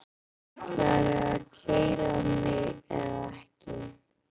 Ætlarðu að keyra mig eða ekki?